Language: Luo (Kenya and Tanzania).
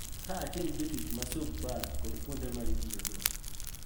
Kaachiel gi jotich ma subpar kod kuonde ma itiyogo.